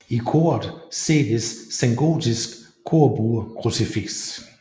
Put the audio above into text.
I koret ses et sengotisk korbuekrucifiks